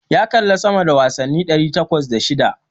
Ya kalli sama da wasanni ɗari takwas da shida.